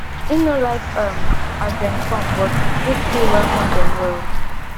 im no like um as dem come but him still welcome dem well